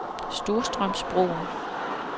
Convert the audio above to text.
Storstrømsbroen